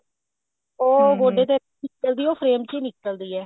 ਉਹ ਉਹਦੇ ਤੇ ਨਿਕਲਦੀ ਉਹ frame ਚ ਹੀ ਨਿਕਲਦੀ ਹੈ